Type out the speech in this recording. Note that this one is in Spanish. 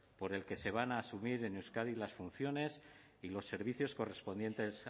por el que se van a asumir en euskadi las funciones y los servicios correspondientes